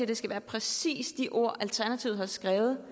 det skal være præcis de ord alternativet har skrevet